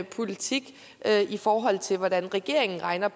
politik i forhold til hvordan regeringen regner